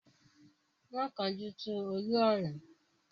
Má kánjú tú Olú ọrán!